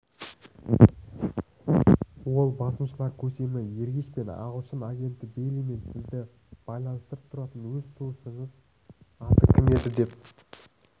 ол басмашылар көсемі ергешпен ағылшын агенті бейлимен сізді байланыстырып тұратын өз туысыңыз аты кім еді деп